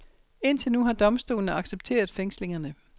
Indtil nu har domstolene accepteret fængslingerne.